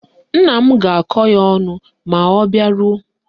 Nna m ga-akọ ya ọnụ ma ọ bịaruo